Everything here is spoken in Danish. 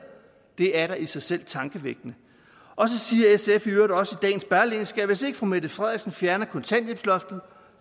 det er da i sig selv tankevækkende og så siger sf i øvrigt også i dagens berlingske at hvis ikke fru mette frederiksen fjerner kontanthjælpsloftet